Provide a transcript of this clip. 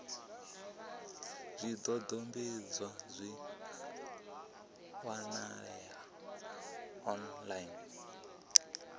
zwidodombedzwa zwi a wanalea online